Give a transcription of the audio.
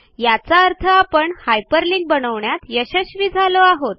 याचा अर्थ आपण हायपरलिंक बनवण्यात यशस्वी झालो आहोत